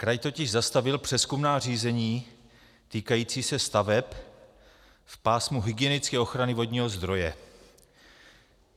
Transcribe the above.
Kraj totiž zastavil přezkumná řízení týkající se staveb v pásmu hygienické ochrany vodního zdroje.